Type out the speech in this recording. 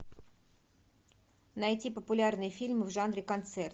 найти популярные фильмы в жанре концерт